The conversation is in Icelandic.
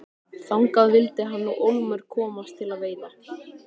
Þangað vildi hann nú ólmur komast til að veiða.